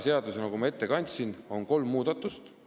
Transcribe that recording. Eelnõus, nagu ma ette kandsin, on tehtud kolm muudatust.